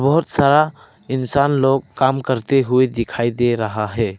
बहुत सारा इंसान लोग काम करते हुए दिखाई दे रहा है।